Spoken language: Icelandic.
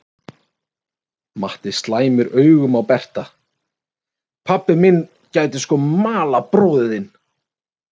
Matti slæmir augum á Berta: Pabbi minn gæti sko malað bróður þinn.